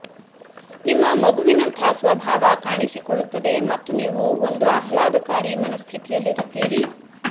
ನಿಮ್ಮ ಮಗುವಿನಂಥ ಸ್ವಭಾವ ಕಾಣಿಸಿಕೊಳ್ಳುತ್ತದೆ ಮತ್ತು ನೀವು ಒಂದು ಆಹ್ಲಾದಕಾರಿ ಮನಃಸ್ಥಿತಿಯಲ್ಲಿರುತ್ತೀರಿ